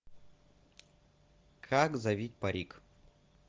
как завить парик